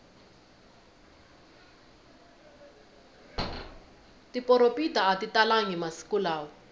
tiporopita atitalangi masiku lawa